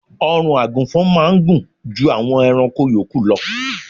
Ọrùn àgùnfọn máá ń gùn ju àwọn ẹranko yòókù lọ